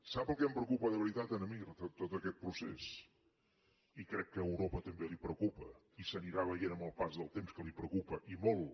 sap el que em preocupa de veritat a mi de tot aquest procés i crec que a europa també la preocupa i s’anirà veient amb el pas del temps que la preocupa i molt